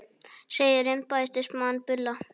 Segir embættismann bulla